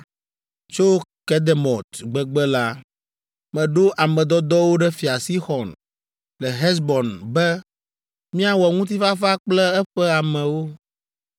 “Tso Kedemot gbegbe la, meɖo ame dɔdɔwo ɖe Fia Sixɔn le Hesbon be míawɔ ŋutifafa kple eƒe amewo.